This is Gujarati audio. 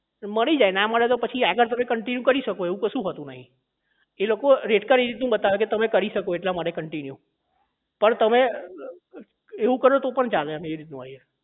મળી જાય ના મળે તો પછી આગળ તમે continue કરી શકો એવું કશું હોતું નહીં એ લોકો rate card એવી રીત નું બતાવે તમે કરી શકો એટલા માટે continue પણ તમે એવું કરો તો પણ ચાલે આમ આ રીત નું હોય